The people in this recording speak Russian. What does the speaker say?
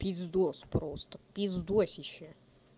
пиздос просто пиздос ищи